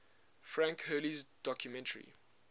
frank hurley's documentary